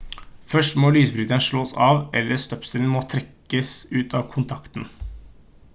først må lysbryteren slås av eller støpselet må trekkes ut av kontakten